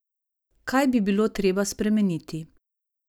Kaj bi bilo treba spremeniti?